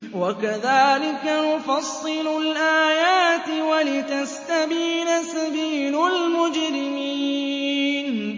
وَكَذَٰلِكَ نُفَصِّلُ الْآيَاتِ وَلِتَسْتَبِينَ سَبِيلُ الْمُجْرِمِينَ